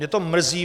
Mě to mrzí.